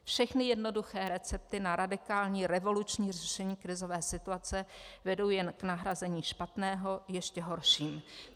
Všechny jednoduché recepty na radikální, revoluční řešení krizové situace vedou jen k nahrazení špatného ještě horším.